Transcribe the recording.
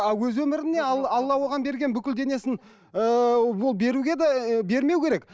а өз өміріне алла оған берген бүкіл денесін ыыы ол беруге де ы бермеу керек